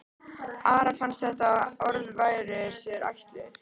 Ara fannst að þessi orð væru sér ætluð.